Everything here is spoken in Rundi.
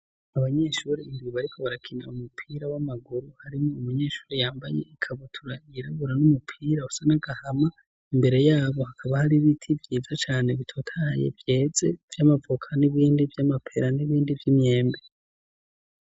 Abanyeshuri bariko barakina umupira w'amaguru, harimwo umunyeshuri yambaye ikabutura yirabura n'umupira usa n'agahama, imbere yabo hakaba hari ibiti vyiza cane bitotaye byedze vy'amavuka n'ibindi vy'amapera n'ibindi vy'imyembe.